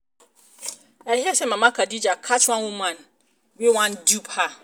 i hear say mama elijah catch one woman wey wan dupe her